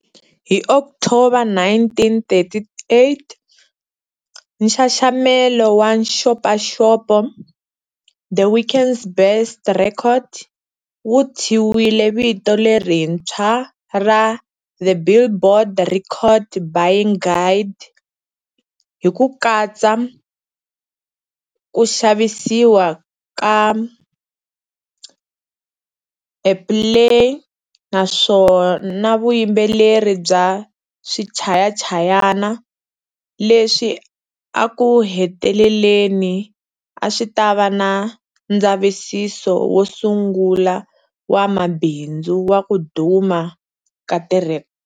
Hi October 1938, nxaxamelo wa nxopaxopo,"The Week's Best Records", wu thyiwile vito lerintshwa ra"The Billboard Record Buying Guide" hi ku katsa ku xavisiwa ka airplay na vuyimbeleri bya swichayachayana, leswi eku heteleleni a swi ta va ndzavisiso wo sungula wa mabindzu wa ku duma ka tirhe.